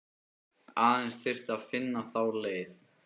Aðeins þyrfti að finna þá leið.